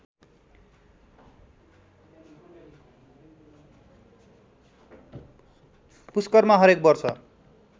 पुस्करमा हरेक वर्ष